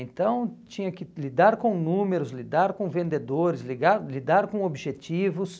Então, tinha que lidar com números, lidar com vendedores, ligar lidar com objetivos.